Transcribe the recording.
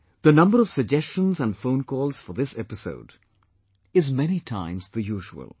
The number of suggestions and phone calls for this episode is many times the usual